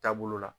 Taabolo la